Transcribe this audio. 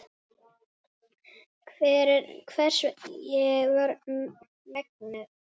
Hvers ég var megnug.